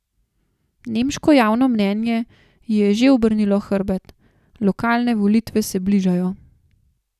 Nemško javno mnenje ji je že obrnilo hrbet, lokalne volitve se bližajo ...